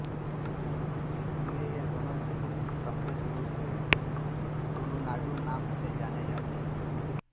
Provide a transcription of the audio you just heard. इसलिए ये दोनो जिले सम्मिलित रूप से तुलुनाडु नाम से जाने जाते हैं